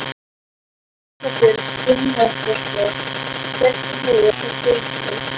Erla Björg Gunnarsdóttir: Hvernig hefur það gengið?